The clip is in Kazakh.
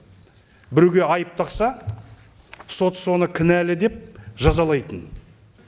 біреуге айып тақса сот соңы кінәлі деп жазалайтын